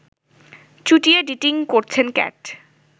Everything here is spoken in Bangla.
চুটিয়ে ডিটিং করছেন ক্যাট